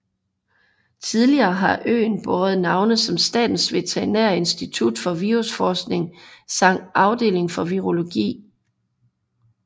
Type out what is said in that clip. Tidligere har øen båret navne som Statens Veterinære Institut for Virusforskning samt Afdeling for Virologi